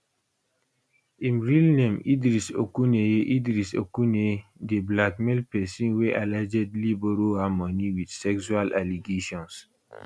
im real name idris okuneye idris okuneye dey blackmail pesin wey allegedly borrow am money wit sexual allegations